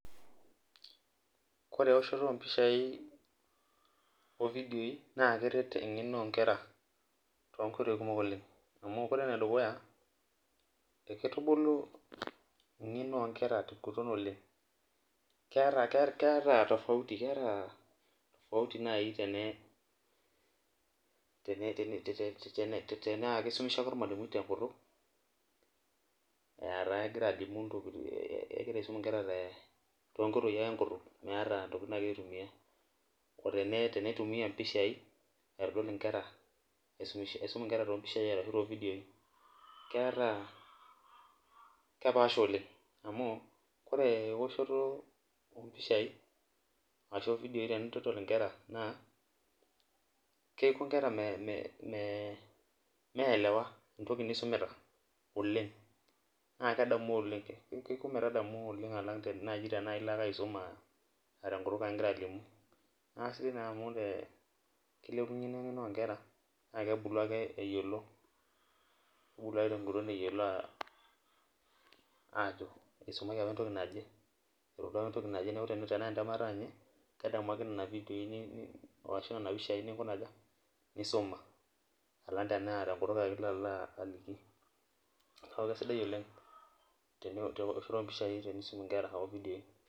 kore eoshoto oo mpishai oo vidioi naa keret engeno oo nkera too nkoitoi kumok oleng amu, kore ene dukuya ekeitubulu engeno oo nkera te ng'uton oleng. keeta tofautivkeeta tofauti naaji tenegira teenaa kisumish ake olmalimui te nkutuk, kegira alimuni ntokitin kegira aisum nkera too nkoitoi ake enkutuk, meeta ntokitin naagira aitumia.o tene ,teneitumia mpishai, aitodol nkera, aisum nkera too mpisha ashu too videoi. keeta kepaasha oleng. amu ore eoshoto oo mpishai ashu, videoi tenintodol nkera naa kepuo nkera, mme mme meelewa entoki nisumita oleng. naa kedamu oleng. keiko metadamu oleng alang naji tena illo ake aisum aa tenkutuk ake igira alimu, naasi naa kilepunye ina eng'eno oo nkera, naa kebulu ake eyiolo. kebulu te ng'uton eyiolo ajo isumaki apa entoki naje. neeku tenaa entemata ninye kedamu ake nena vidioi, ashu nena pisai nisuma. alang tenaa tenkutu ake ilo alo aliki. neeku kisidai oleng eoshoto oo mpishai tenisum nkera o vidioi.